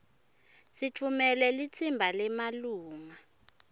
sitfumele litsimba lemalunga